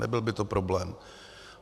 Nebyl by to problém.